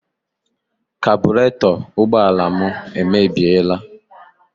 Kabụreto ụgbọala m emebiela.